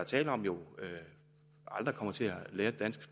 tale om jo aldrig kommer til at lære det danske